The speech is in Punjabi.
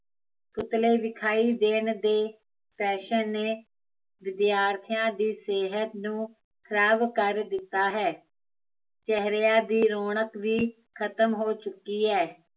ਪੁਤਲੇ ਵਿਖਾਈ ਦੇਣ ਦੀ, ਫੈਸ਼ਨ ਨੇ, ਵਿਦਿਆਰਥੀਆ ਦੀ ਸਿਹਤ ਨੂੰ, ਖਰਾਬ ਕਰ ਦਿੱਤਾ ਹੈ ਚਹਿਰਆ ਦੀ ਰੋਣਕ ਵੀ ਖਤਮ ਹੋ ਚੁੱਕੀ ਹੈ